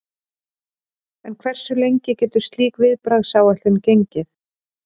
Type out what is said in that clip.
En hversu lengi getur slík viðbragðsáætlun gengið?